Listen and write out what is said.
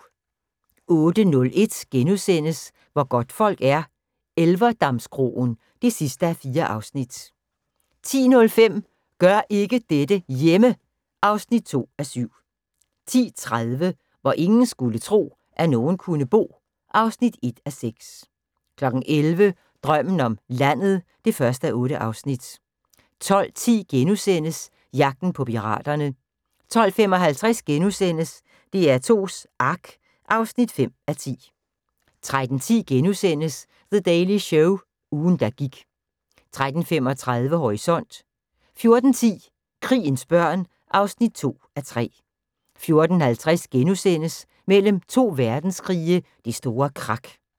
08:01: Hvor godtfolk er - Elverdamskroen (4:4)* 10:05: Gør ikke dette hjemme! (2:7) 10:30: Hvor ingen skulle tro, at nogen kunne bo (1:6) 11:00: Drømmen om landet (1:8) 12:10: Jagten på piraterne * 12:55: DR2s Ark (5:10)* 13:10: The Daily Show – ugen der gik * 13:35: Horisont 14:10: Krigens børn (2:3) 14:50: Mellem 2 verdenskrige – Det store krak *